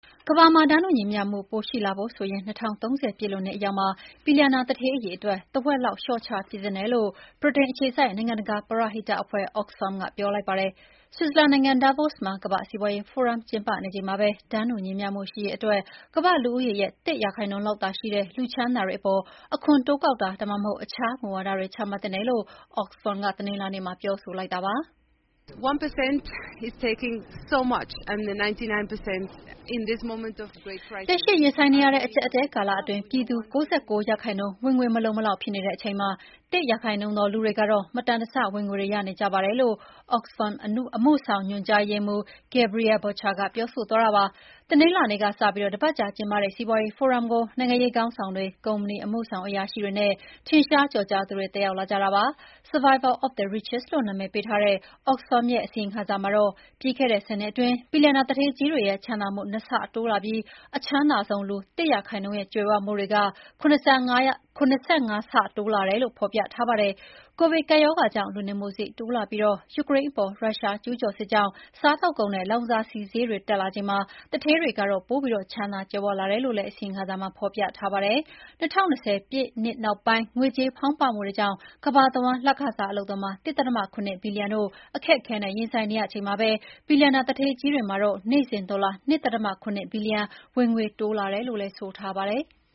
ကမ္ဘာမှာ တန်းတူညီမျှမှုပိုရှိလာဖို့ဆိုရင် ၂၀၃၀ ပြည့်လွန်နှစ်အရောက်မှာ ဘီလျံနာသူဌေးအရေအတွက် တဝက်လောက် လျှော့ချပစ်သင့်တယ်လို့ ဗြိတိန်အခြေစိုက် နိုင်ငံတကာပရဟိတအဖွဲ့ Oxfam ကပြောလိုက်ပါတယ်။ ဆွစ်ဇာလန်နိုင်ငံ၊ Davos မှာ ကမ္ဘာ့စီးပွါးရေးဖိုရမ်ကျင်းပနေချိန်မှာပဲ တန်းတူညီမျှမှုရှိရေးအတွက် ကမ္ဘာ့လူဦးရေရဲ့ ၁ ရာခိုင်နှုန်းလောက်သာရှိတဲ့ လူချမ်းသာတွေအပေါ် အခွန်တိုးကောက်တာ၊ ဒါမှမဟုတ် အခြားမူဝါဒတွေ ချမှတ်သင့်တယ်လို့ Oxfam က တနင်္လာနေ့မှာ ပြောဆိုလိုက်တာပါ။ “လက်ရှိရင်ဆိုင်နေရတဲ့အကျပ်အတည်းကာလအတွင်း ပြည်သူ ၉၉% ဝင်ငွေမလုံမလောက်ဖြစ်တဲ့အချိန်မှာ ၁% သောလူတွေကတော့ မတန်တဆ ဝင်ငွေတွေရနေကြပါတယ်” လို့ Oxfam အမှုဆောင်ညွှန်ကြားရေးမှူး Gabriela Bucher ကပြောပါတယ်။ တနင်္လာနေ့ကစပြီး တပတ်ကြာကျင်းပတဲ့စီးပွါးရေးဖိုရမ်ကို နိုင်ငံရေးခေါင်းဆောင်တွေ၊ ကုမ္ပဏီအမှုဆောင်အရာရှိတွေနဲ့ ထင်ရှားကျော်ကြားသူတွေ တက်ရောက်လာကြတာပါ။ "Survival of the Richest" လို့နာမည်ပေးထားတဲ့ Oxfam ရဲ့ အစီရင်ခံစာမှာတော့ ပြီးခဲ့တဲ့ ၁၀ နှစ်အတွင်း ဘီလျံနာသူဌေးကြီးတွေရဲ့ချမ်းသာမှု ၂ ဆတိုးလာပြီး အချမ်းသာဆုံးလူ ၁% ရဲ့ကြွယ်ဝမှုတွေ ၇၅ ဆ တိုးလာတယ်လို့ ဖော်ပြထားပါတယ်။ ကိုဗစ်ကပ်ရောဂါကြောင့် လူနေမှုစရိတ်တိုးလာပြီး ယူကရိန်းအပေါ် ရုရှားကျူးကျော်စစ်ကြောင့် စားသောက်ကုန်နဲ့ လောင်စာဈေးတွေတက်လာချိန်မှာ သူဌေးတွေကတော့ ပိုပြီးချမ်းသာကြွယ်ဝလာတယ်လို့လည်း အစီရင်ခံစာမှာဖော်ပြထားပါတယ်။ ၂၀၂၀ ပြည့်နှစ်နောက်ပိုင်း ငွေကြေးဖောင်းပွမှုတွေကြောင့် ကမ္ဘာတဝန်း လခစား အလုပ်သမား ၁.၇ ဘီလီယံတို့ အခက်အခဲနဲ့ရင်ဆိုင်နေရချိန်မှာပဲ ဘီလျံနာသူဌေးကြီးတွေမှာတော့ နေ့စဉ်ဒေါ်လာ ၂.၇ ဘီလီယံ ဝင်ငွေတိုးလာတယ်လို့လည်း ဆိုထားပါတယ်။